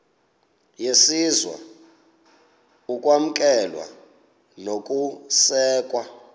yesizwe ukwamkelwa nokusekwa